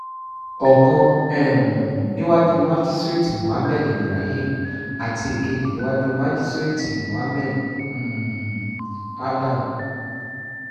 ọ̀kan um níwájú májísíréètì mohammed ibrahim àti èkejì níwájú májísíréètì mohammed um adam